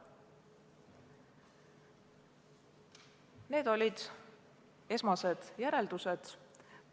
Need olid esmased järeldused.